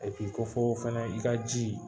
ko fɔ fɛnɛ, i ka ji